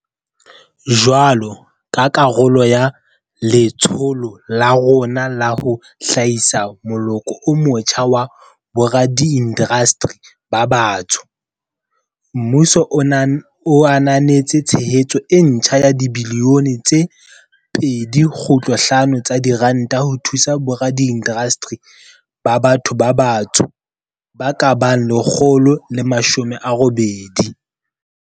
Jwalo ka karolo ya letsholo la rona la ho hlahisa moloko o motjha wa boradiindasteri ba batsho, mmuso o ananetse tshehetso e ntjha ya dibilione tse 2.5 tsa diranta ho thusa boradiindasteri ba batho ba batsho ba ka bang 180.